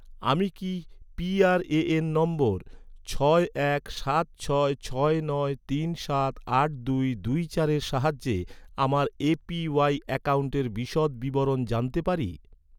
আমি কি PRAN number ছয় এক সাত ছয় ছয় নয় তিন সাত আট দুই দুই চারের সাহায্যে আমার এ.পি.ওয়াই অ্যাকাউন্টের বিশদ বিবরণ জানতে পারি?